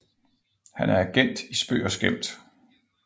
Han er agent i spøg og skæmt